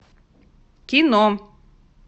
кино